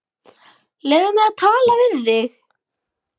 Leyfðu mér að tala við þig!